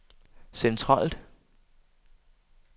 centralt